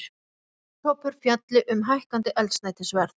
Starfshópur fjalli um hækkandi eldsneytisverð